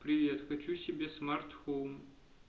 привет хочу себе смарт хоум